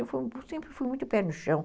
Eu sempre fui muito pé no chão.